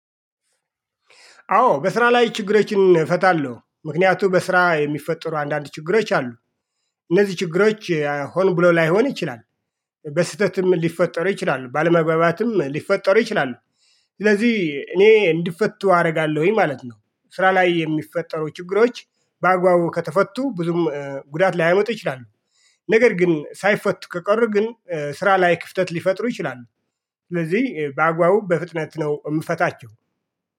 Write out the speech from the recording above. አዎ በስራ ላይ ችግሮችን እፈታለሁ ምክንያቱም በስራ የሚፈጠሩ አንዳንድ ችግሮች አሉ። እነዚህ ችግሮች ሆን ብሎ ላይሆን ይችላል። በስህተትም ሊፈጠሩ ይችላሉ ባለመግባባትም ሊፈጠሩ ይችላሉ። ስለዚህ እኔ እንዲፈቱ አረጋለሁኝ ማለት ነው። ስራ ላይ የሚፈጠሩ ችግሮች በአግባቡ ከተፈቱ ብዙም ጉዳት ላይመጡ ይችላሉ። ነገር ግን ሳይፈቱ ከቀሩ ግን ስራ ላይ ክፍተት ሊፈጥሩ ይችላሉ። ስለዚህ በአግባቡ በፍጥነት ነው የምፈታቸው